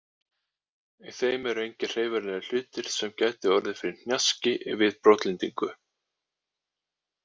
Í þeim eru engir hreyfanlegir hlutir sem gætu orðið fyrir hnjaski við brotlendingu.